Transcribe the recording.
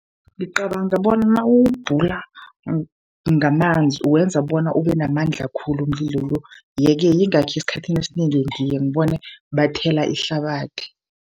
Ngicabanga bona nawuwubhula ngamanzi, uwenza bona ube namandla khulu umlilo lo. Ye-ke yingakho esikhathini esinengi ngiye ngibone bathela ihlabathi.